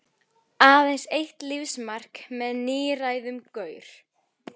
Aðeins eitt lífsmark með níræðum gaur.